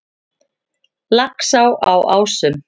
Laxá á Ásum